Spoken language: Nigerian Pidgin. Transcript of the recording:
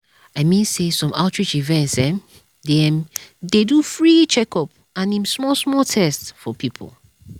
i mean say some outreach events um dey um do free checkup and em small small test for people.